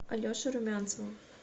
алеши румянцева